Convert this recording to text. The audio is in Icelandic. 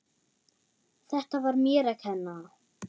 Þetta var mér að kenna.